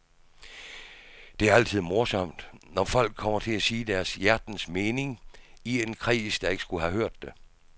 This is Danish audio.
Det er altid morsomt, når folk kommer til at sige deres hjertens mening i en kreds, der ikke skulle have hørt det.